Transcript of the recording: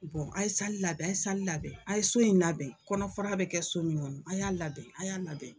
a ye labɛn a ye labɛn a ye so in labɛn kɔnɔfara bɛ kɛ so min kɔnɔ a y'a labɛn a y'a labɛn.